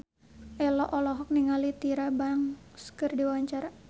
Ello olohok ningali Tyra Banks keur diwawancara